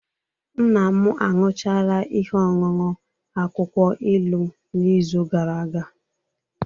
Nna m aṅụchala ihe ọṅụṅụ akwụkwọ ilu n'izu gara aga